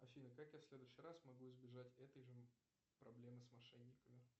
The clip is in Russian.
афина как я в следующий раз могу избежать этой же проблемы с мошенниками